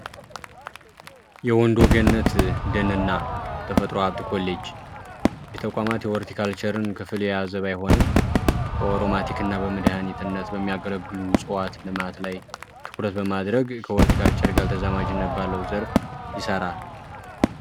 የወንዶገነት ደን እና ተፈጥሮ ሃብት ኮሌጅ የተቋማት የሆሊቲካልቸርን ክፍል የያዘው ባይሆንም ኦሮማቲክ እና በመድሀኒትነት በሚያገለግሉት እፅዋት ልማት ላይ ትኩረት በማድረግ ከሆሊቲካልቸር ጋር በተዘማጅነት ባለው ዘርፍ ይሰራል።